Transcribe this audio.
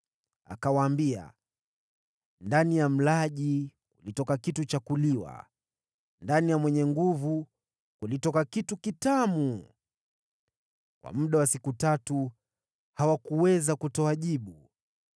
Akawaambia, “Ndani ya mlaji, kulitoka kitu cha kuliwa, ndani ya mwenye nguvu, kulitoka kitu kitamu.” Kwa muda wa siku tatu hawakuweza kutoa jibu.